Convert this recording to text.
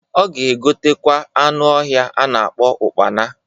Ọ ga egotekwa anụ ọhịa a na-akpọ ụkpana.